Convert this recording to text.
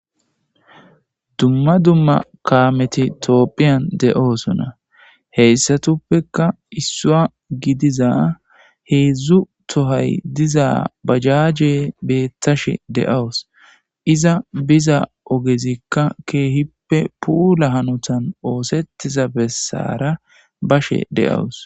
Dumma dumma kaameti toopphiyan de,oosonna heyssatuppekka issua gidiza heedzdzu tohay diza bajaaje beettashe de,awus iza biza ogezikka keehippe puula hanotan oosettiza bessara bashe de,awus.